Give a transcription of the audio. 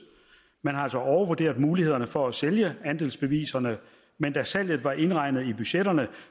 man har altså overvurderet mulighederne for at sælge andelsbeviserne men da salget var indregnet i budgetterne